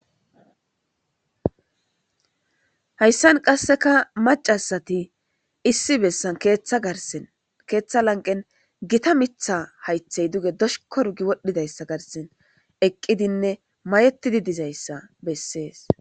Hayisan qasseka macasati issi bessan ketha garsen ketha lanqen gita mitha haythey duge dosh korgi wodhdhidayssa garsen eqqidinne mayettidi dizayssa beses